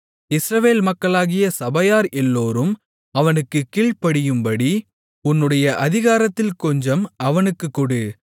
இஸ்ரவேல் மக்களாகிய சபையார் எல்லோரும் அவனுக்குக் கீழ்ப்படியும்படி உன்னுடைய அதிகாரத்தில் கொஞ்சம் அவனுக்குக் கொடு